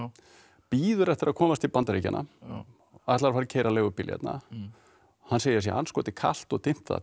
bíður eftir að komast til Bandaríkjanna ætlar að fara að keyra leigubíl hérna hann segir að sé andskoti kalt og dimmt þarna